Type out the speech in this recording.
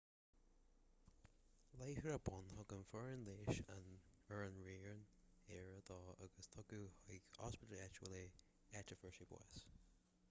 láithreach bonn thug an fhoireann leighis ar an raon aire dó agus tugadh chuig ospidéal áitiúil é áit a fuair sé bás